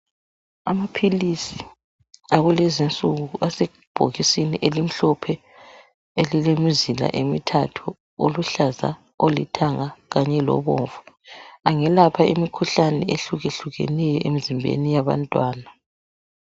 amaphilisi akulezinsuku asebhokisini elimhlophe elilemizila emithathu oluhlaza olithanga kanye lobomvu angelapho imikhuhlane ehlukahlukeneyo emzimbeni wabantwana